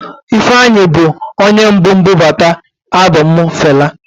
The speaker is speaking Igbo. Ifeanyi bu onye mbu budata album Fela.